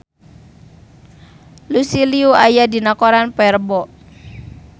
Lucy Liu aya dina koran poe Rebo